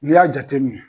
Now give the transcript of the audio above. N'i y'a jateminɛ